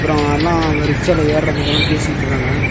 அ அண்ணா அவ ரிக்ஷால ஏறதுக்கான பேசிட்டுருக்காங்க.